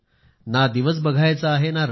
ना दिवस बघायचा आहे न रात्र